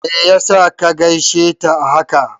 Me yasa ka gaishe ta a haka?